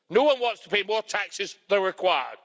No one wants to pay more taxes than required.